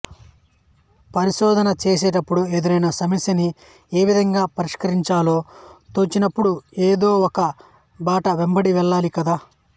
పరిశోధన చేసేటప్పుడు ఎదురైన సమస్యని ఏ విధంగా పరిష్కరించాలో తోచనప్పుడు ఏదో ఒక బాట వెంబడి వెళ్ళాలి కదా